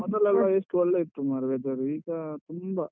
ಮೊದಲೆಲ್ಲ ಎಷ್ಟು ಒಳ್ಳೆ ಇತ್ತು ಮಾರ್ರೆ weather ಈಗ ತುಂಬ.